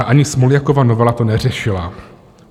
A ani Smoljakova novela to neřešila.